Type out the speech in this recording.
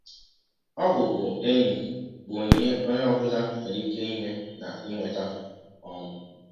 Ọbụbụenyi bụ ọnyịnye ọnye ọ bụla nwere ịke inye na inweta. um